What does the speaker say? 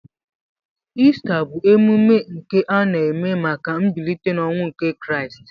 Ista bu emume nke ana eme maka mbilite n'ọnwụ nke kraist.